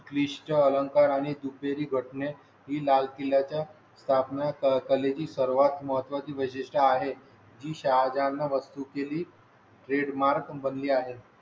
क्लिष्ट च्या अलंकार आणि दुपारी घटने ही लाल किल्ल्या च्या स्थापना कले जी सर्वात महत्त्वाचे वैशिष्टय़ आहे जी शहा जालना वस्तू केली, ट्रेडमार्क बंदी आहे.